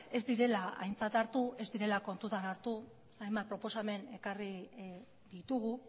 ez direla aintzat hartu ez direla kontutan hartu zeren hainbat proposamen ekarri ditugu